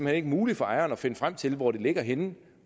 hen ikke muligt for ejeren at finde frem til hvor det ligger henne